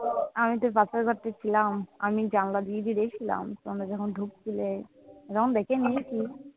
আমি তো পাশের ঘরটায় ছিলাম। আমি জানলা দিয়ে দিয়ে দেখছিলাম তোমরা যখন ঢুকছিলে। এরম দেখে নিয়েছি।